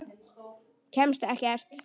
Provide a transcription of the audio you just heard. Kemst ekkert.